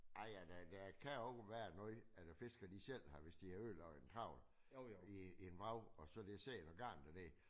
Ej ja der der kan også være noget af det fiskerne de selv har hvis de har ødelagt en trawl i i en vrag og så der sidder noget garn dernede